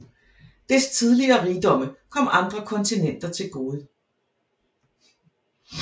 Dets tidligere rigdomme kom andre kontinenter til gode